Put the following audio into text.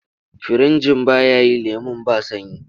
Firinjin ba ya yi lemon ba sanyi.